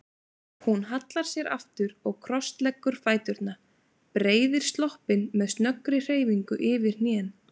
Hún hallar sér aftur og krossleggur fæturna, breiðir sloppinn með snöggri hreyfingu yfir hnén.